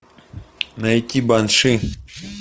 найти банши